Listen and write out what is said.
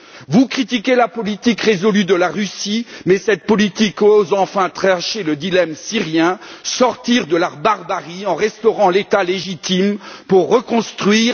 Vous critiquez la politique résolue de la Russie, mais cette politique ose enfin trancher le dilemme syrien, sortir de la barbarie en restaurant l'État légitime pour reconstruire.